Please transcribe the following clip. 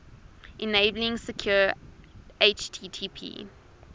enabling secure http